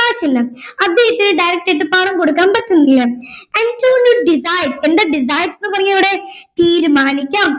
കാശില്ല അദ്ദേഹത്തെ direct ആയിട്ട് പണം കൊടുക്കാൻ പറ്റുന്നില്ല അന്റോണിയോ decides എന്താണ് decides എന്ന് പറഞ്ഞത് ഇവിടെ തീരുമാനിക്കാം